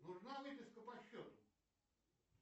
нужна выписка по счету